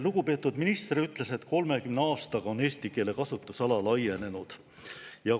Lugupeetud minister ütles, et 30 aastaga on eesti keele kasutusala laienenud.